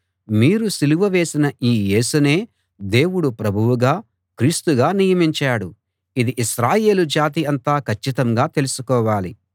మీరు సిలువ వేసిన ఈ యేసునే దేవుడు ప్రభువుగా క్రీస్తుగా నియమించాడు ఇది ఇశ్రాయేలు జాతి అంతా కచ్చితంగా తెలుసుకోవాలి